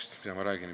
Mida ma räägin?